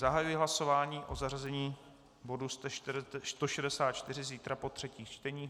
Zahajuji hlasování o zařazení bodu 164 zítra po třetích čteních.